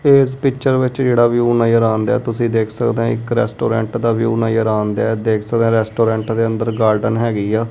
ਇਸ ਪਿਕਚਰ ਵਿੱਚ ਜਿਹੜਾ ਵਿਊ ਨਜ਼ਰ ਆਣ ਡਿਆ ਤੁਸੀਂ ਵੇਖ ਸਕਦੇ ਹੋ ਇੱਕ ਰੈਸਟੋਰੈਂਟ ਦਾ ਵਿਊ ਨਜ਼ਰ ਆਣ ਡਿਆ ਤੁਸੀਂ ਦੇਖ ਸਕਦੇ ਹੋ ਰੈਸਟੋਰੈਂਟ ਦੇ ਅੰਦ ਰ ਗਾਰਡਨ ਹੈਗੀ ਆ।